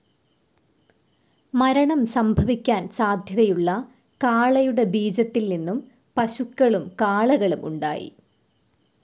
മരണം സംഭവിക്കാൻ സാധ്യതയുള്ള കാളയുടെ ബീജത്തിൽ നിന്നും പശുക്കളും കാളകളും ഉണ്ടായി.